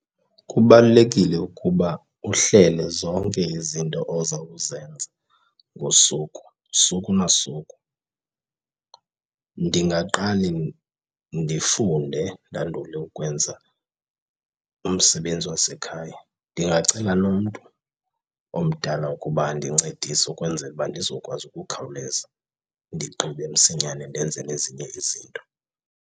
Kubalulekile ukuba uhlele zonke izinto oza kuzenza ngosuku, suku na usuku. Ndingaqale ndifunde ndandule ukwenza umsebenzi wasekhaya. Ndingacela nomntu omdala ukuba andincedise ukwenzela uba ndizokwazi ukukhawuleza ndigqibe msinyane ndenze nezinye izinto.